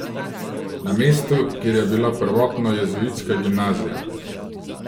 Na mestu, kjer je bila prvotno jezuitska gimnazija.